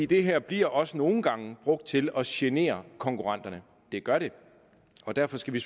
det her bliver også nogle gange brugt til at genere konkurrenterne det gør det og derfor skal vi